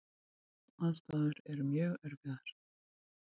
Aðstæður voru mjög erfiðar.